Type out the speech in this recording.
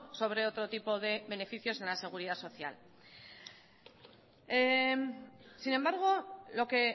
sobre otro tipo de beneficios en la seguridad social sin embargo lo que